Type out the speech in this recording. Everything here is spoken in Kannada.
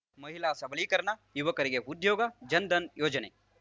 ಮಹಿಳಾ ಸಬಲೀಕರಣ ಯುವಕರಿಗೆ ಉದ್ಯೋಗ ಜನಧನ್ ಯೋಜನೆ